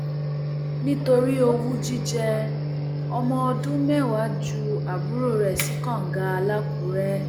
nítorí owú jíjẹ ọmọọdún mẹwàá ju àbúrò rẹ sí kànga làkùrẹ